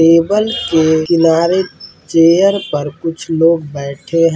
Table के किनारे chair पर कुछ लोग बैठे है।